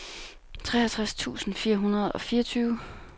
treogtres tusind fire hundrede og fireogtyve